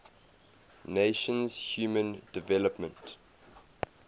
nations human development